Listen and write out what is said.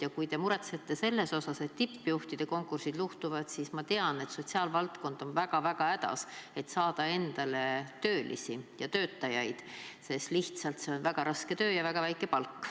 Ja kui te muretsete selle pärast, et tippjuhtide konkursid luhtuvad, siis ma tean, et sotsiaalvaldkond on väga-väga hädas, et saada endale töötajaid, sest lihtsalt see on väga raske töö ja väga väike palk.